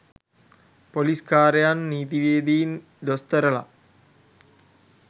police කාරයන් නීතිවේදීන් දොස්තරලා